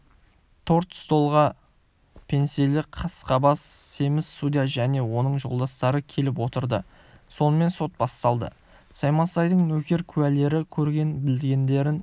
тор-столға пенснелі қасқабас семіз судья және оның жолдастары келіп отырды сонымен сот басталды саймасайдың нөкер-куәлері көрген-білгендерін